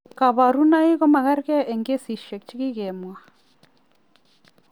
Kabarunoik ko magerge eng' kesishek che kikemwa.